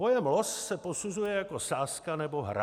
Pojem los se posuzuje jako sázka nebo hra.